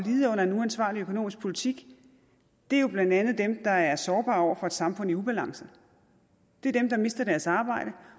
lide under en uansvarlig økonomisk politik er jo blandt andet dem der er sårbare over for et samfund i ubalance det er dem der mister deres arbejde